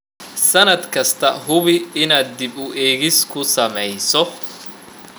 Sannad kasta, hubi inaad dib u eegis ku sameyso.